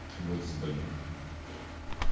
бойтесь больных